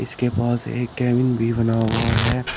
इसके पास एक केबिन भी बना हुआ है।